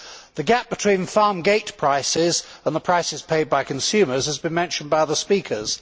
The gap between farm gate prices and the prices paid by consumers has been mentioned by other speakers.